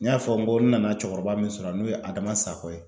N y'a fɔ n ko n nana cɛkɔrɔba min sɔrɔ yan n'o ye Adama Sako ye.